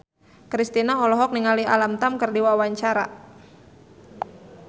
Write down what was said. Kristina olohok ningali Alam Tam keur diwawancara